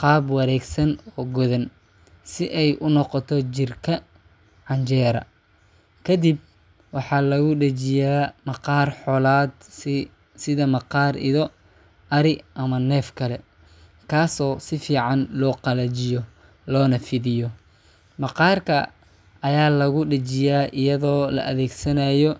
qaab wareegsan oo godan, si ay u noqoto jirka canjera. Kadib, waxaa lagu dhejiyaa maqaar xoolaad, sida maqaar ido, ari ama neef kale, kaasoo si fiican loo qalajiyo loona fidiyo. Maqaarka ayaa lagu dhejiyaa iyadoo la adeegsanayo